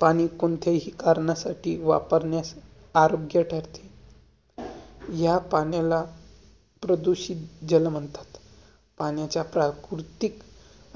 पाणी कोणत्याही कार्नासाठी वापरण्यास, आरोग्य ठरते. या पाण्याला प्रदूषित जल म्हणतात. पाण्याच्या प्राकृतिक,